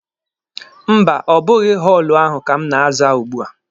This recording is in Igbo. Mba, ọ bụghị họọlụ ahụ ka m na-aza ugbua.